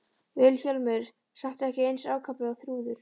Vilhjálmur samt ekki eins ákaflega og Þrúður.